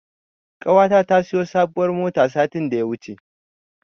Ƙawata ta siyo sabuwar mota satin da ya wuce.